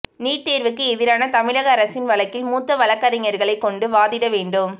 NEET தோ்வுக்கு எதிரான தமிழக அரசின் வழக்கில் மூத்த வழக்குரைஞா்களை கொண்டு வாதிட வேண்டும்